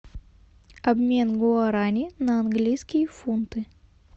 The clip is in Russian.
обмен гуарани на английские фунты